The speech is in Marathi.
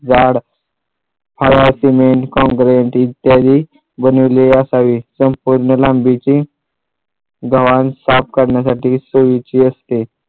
झाड हवा सिमेंट काँक्रेट इत्यादी बनविलेली असावी संपूर्ण लांबीची गव्हाण साफ करण्यासाठी सोयीची असते